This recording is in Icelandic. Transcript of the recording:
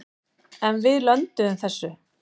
En við lönduðum þessu.